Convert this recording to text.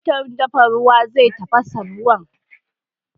Butar dafa ruwa zai tafasa ruwan.